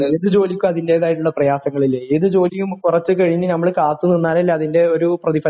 ഏത് ജോലിക്കും അതിന്റേതായിട്ടുള്ള പ്രയാസങ്ങളില്ലേ ഏത് ജോലിയും കുറച്ച് കഴിഞ്ഞ് നമ്മള് കാത്തു നിന്നാലല്ലെ അത് അതിന്റെ ഒരു പ്രതിഫലം കിട്ടുള്ളൂ